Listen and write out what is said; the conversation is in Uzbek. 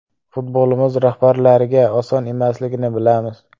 Futbolimiz rahbarlariga oson emasligini bilamiz.